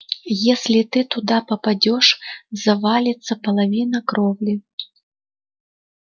если ты туда попадёшь завалится половина кровли